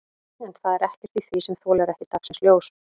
En það er ekkert í því sem þolir ekki dagsins ljós?